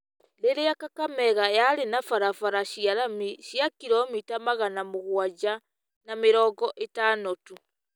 rĩrĩa Kakamega yarĩ na barabara cia rami cia kiromita magana mũgwanja ma mĩrongo ĩtano tu .